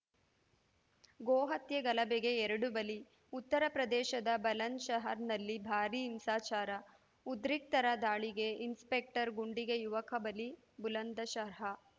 ಗೋಹತ್ಯೆ ಗಲಭೆಗೆ ಎರಡು ಬಲಿ ಉತ್ತರಪ್ರದೇಶದ ಬಲಂದ್‌ಶಹರ್‌ನಲ್ಲಿ ಭಾರಿ ಹಿಂಸಾಚಾರ ಉದ್ರಿಕ್ತರ ದಾಳಿಗೆ ಇನ್ಸ್‌ಪೆಕ್ಟರ್‌ ಗುಂಡಿಗೆ ಯುವಕ ಬಲಿ ಬುಲಂದಶರ್ಹ